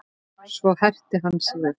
Svo herti hann sig upp.